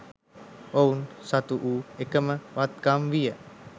ඔවුන් සතු වූ එකම වත්කම විය